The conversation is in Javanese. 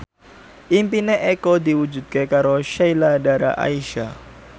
impine Eko diwujudke karo Sheila Dara Aisha